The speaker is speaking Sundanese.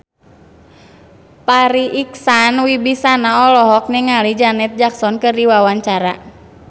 Farri Icksan Wibisana olohok ningali Janet Jackson keur diwawancara